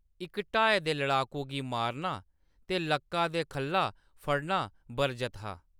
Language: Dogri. इक ढाए दे लड़ाकू गी मारना ते लक्का दे खʼल्ला फड़ना बरजत हा।